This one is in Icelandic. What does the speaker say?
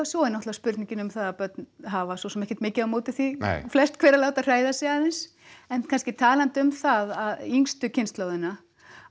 svo er náttúrulega spurningin um það að börn hafa svo sem ekkert mikið á móti því flest hver að láta hræða sig aðeins en kannski talandi um það yngstu kynslóðina